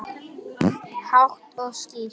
Hátt og skýrt.